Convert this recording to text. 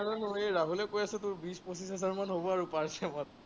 ৰাহুলে কৈ আছে, তোৰ বিশ-পছিচ হাজাৰমান হব আৰু per